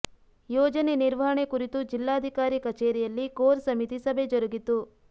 ಯೋಜನೆ ನಿರ್ವಹಣೆ ಕುರಿತು ಜಿಲ್ಲಾಧಿಕರಿ ಕಚೇರಿಯಲ್ಲಿ ಕೋರ್ ಸಮಿತಿ ಸಭೆ ಜರುಗಿತು